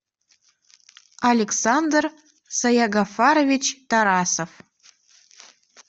александр саягафарович тарасов